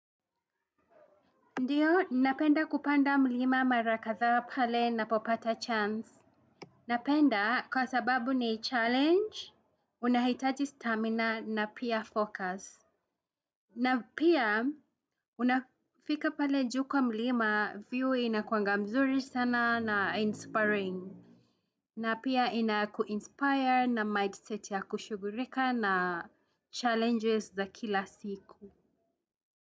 Ndiyo, napenda kupanda mlima mara kadhaa pale ninapopata chance. Napenda kwa sababu ni challenge, unahitaji stamina na pia focus. Na pia, unafika pale juu kwa mlima view inakuanga mzuri sana na inspiring. Na pia inakuinspire na mindset ya kushughulika na challenges za kila siku.